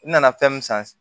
N nana fɛn mun san